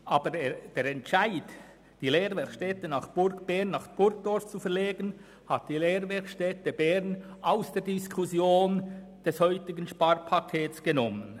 Aber dieser Entscheid hat die TF aus der Diskussion um das heutige Sparpaket herausgehoben.